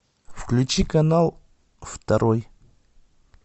включи канал второй